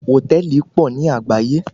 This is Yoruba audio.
Hòtẹ́ẹ̀lì pọ̀ ní àgbáyé.